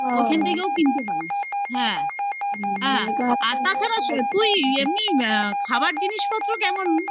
ওখান থেকেও কিনতে পারিস। হ্যা, হ্যা, আর তাছাড়া তুই এমনি অ্যা খাবার জিনিসপত্র কেমন